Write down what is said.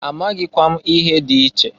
Amaghịkwa m ihe dị iche.